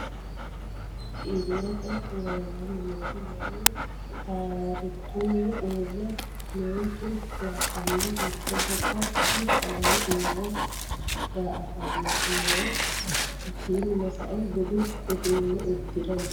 Kowiicho iilete leellani noohu Manu tarituni uure meentu laballi mitte gobba budu sagale uure da'atano no hakiino sa'eena budu uduune uddire no.